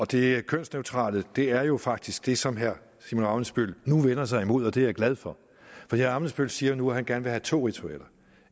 det kønsneutrale er jo faktisk det som herre simon emil ammitzbøll nu vender sig imod og det er jeg glad for for herre ammitzbøll siger nu at han gerne vil have to ritualer